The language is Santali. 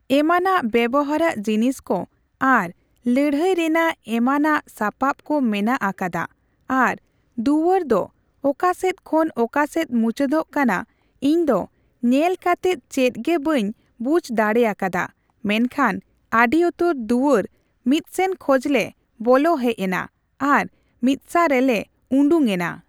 ᱮᱢᱟᱱᱟᱜ ᱵᱮᱵᱚᱦᱟᱨᱟᱜ ᱡᱤᱱᱤᱥᱠᱩ ᱟᱨ ᱞᱟᱹᱲᱦᱟᱹᱭ ᱨᱮᱱᱟᱜ ᱮᱢᱟᱱᱟᱜ ᱥᱟᱯᱟᱵ ᱠᱩ ᱢᱮᱱᱟᱜ ᱟᱠᱟᱫᱟ ᱟᱨ ᱫᱩᱣᱟᱹᱨ ᱫᱚ ᱚᱠᱟᱥᱮᱫ ᱠᱷᱚᱱ ᱚᱠᱟᱥᱮᱫ ᱢᱩᱪᱟᱹᱛᱚᱜ ᱠᱟᱱᱟ ᱤᱧᱫᱚ ᱧᱮᱞ ᱠᱟᱛᱮᱫ ᱪᱮᱫᱜᱮ ᱵᱟᱹᱧ ᱵᱩᱡᱷ ᱫᱟᱲᱮᱭᱟ ᱠᱟᱫᱟ ᱢᱮᱱᱠᱷᱟᱱ ᱟᱹᱰᱤ ᱩᱛᱟᱹᱨ ᱫᱩᱣᱟᱹᱨ ᱢᱤᱫᱥᱮᱱ ᱠᱷᱚᱡᱞᱮ ᱵᱚᱞᱚ ᱦᱮᱡᱱᱟ ᱟᱨ ᱢᱤᱫᱥᱟ ᱨᱮᱞᱮ ᱩᱰᱩᱜ ᱮᱱᱟ ᱾